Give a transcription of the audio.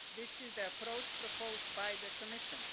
This is the approach proposed by the Commission.